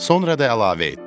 Sonra da əlavə etdi: